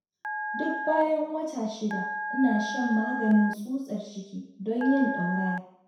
Duk bayan wata 6, ina shan maganin tsutsar ciki, don yin ɗauraya.